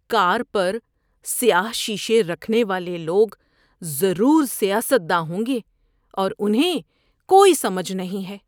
کار پر سیاہ شیشے رکھنے والے لوگ ضرور سیاست داں ہوں گے اور انہیں کوئی سمجھ نہیں ہے۔